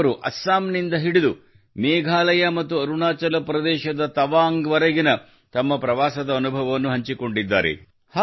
ಅವರು ಅಸ್ಸಾಮ್ ನಿಂದ ಹಿಡಿದು ಮೇಘಾಲಯ ಮತ್ತು ಅರುಣಾಚಲಪ್ರದೇಶದ ತವಾಂಗ್ ವರೆಗಿನ ತಮ್ಮ ಪ್ರವಾಸದ ಅನುಭವವನ್ನು ಹಂಚಿಕೊಂಡಿದ್ದಾರೆ